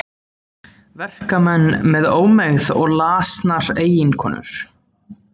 Verkamenn með ómegð og lasnar eiginkonur.